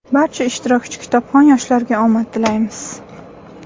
Barcha ishtirokchi kitobxon yoshlarga omad tilaymiz!.